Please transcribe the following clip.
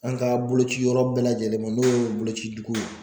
An ka bolociyɔrɔ bɛɛ lajɛlen ma n'o ye bolociduguw ye.